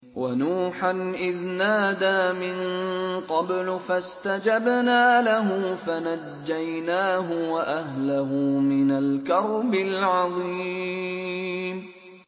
وَنُوحًا إِذْ نَادَىٰ مِن قَبْلُ فَاسْتَجَبْنَا لَهُ فَنَجَّيْنَاهُ وَأَهْلَهُ مِنَ الْكَرْبِ الْعَظِيمِ